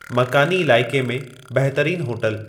मकानी इलाइक़े में बहितरीन होटल